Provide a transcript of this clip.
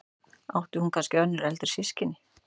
Átti hún kannski önnur eldri systkini?